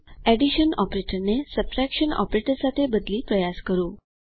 addition ઓપરેટરને subtraction operator સાથે બદલી પ્રયાસ કરો